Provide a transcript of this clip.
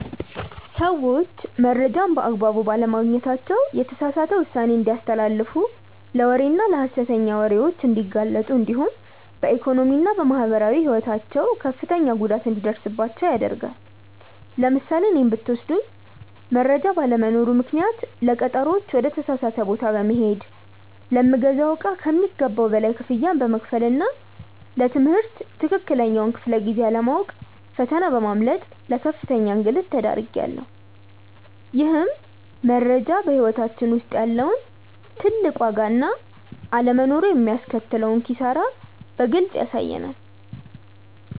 ሰዎች መረጃን በአግባቡ ባለማግኘታቸው የተሳሳተ ውሳኔ እንዲያስተላልፉ ለወሬና ለሐሰተኛ ወሬዎች እንዲጋለጡ እንዲሁም በኢኮኖሚና በማህበራዊ ሕይወታቸው ከፍተኛ ጉዳት እንዲደርስባቸው ያደርጋል። ለምሳሌ እኔን ብትወስዱኝ መረጃ ባለመኖሩ ምክንያት ለቀጠሮዎች ወደ ተሳሳተ ቦታ በመሄድ፣ ለምገዛው እቃ ከሚገባው በላይ ክፍያ በመክፈልና ለ ትምህርት ትክክለኛውን ክፍለ-ጊዜ አለማወቅ ፈተና በማምለጥ ለከፍተኛ እንግልት ተዳርጌያለሁ። ይህም መረጃ በሕይወታችን ውስጥ ያለውን ትልቅ ዋጋና አለመኖሩ የሚያስከትለውን ኪሳራ በግልጽ ያሳያል።